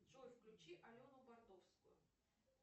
джой включи алену бардовскую